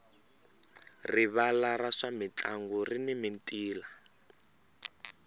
rivala ra swa mintlangu rini mintila